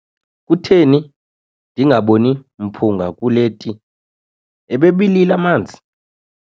Kutheni ndingaboni mphunga kule ti, ebebilile amanzi?